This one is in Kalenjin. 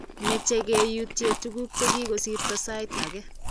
meche keyutien tuguk che kikosirto sait age